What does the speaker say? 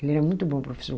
Ele era muito bom professor.